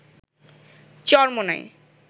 Charmonai